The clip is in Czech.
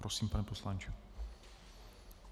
Prosím, pane poslanče.